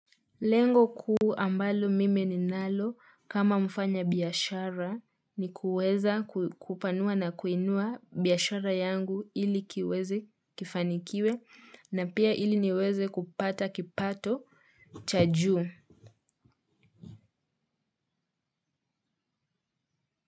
Lengo kuu ambalo mimi ninalo kama mfanya biashara ni kuweza kupanua ama kuinua biashara yangu ili kiweze kifanikiwe na pia ili niweze kupata kipato cha juu.